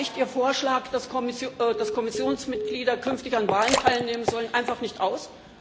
Da reicht Ihr Vorschlag, dass Kommissionsmitglieder künftig an Wahlen teilnehmen sollen, einfach nicht aus.